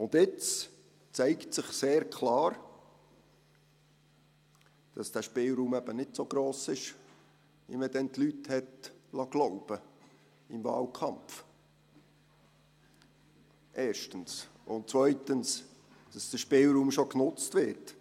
Jetzt zeigt sich sehr klar, dass dieser Spielraum eben nicht so gross ist, wie man die Leute damals, erstens im Wahlkampf, glauben liess und dass zweitens, der Spielraum schon genutzt wird.